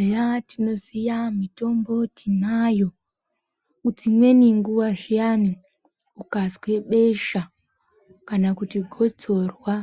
Eya, tinoziya mitombo tinayo. Dzimweni nguva zviyani ukazwe besha kana kuti gotsorwa,